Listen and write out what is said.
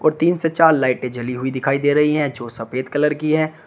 और तीन से चार लाइटें जली हुई दिखाई दे रही है जो सफेद कलर की हैं।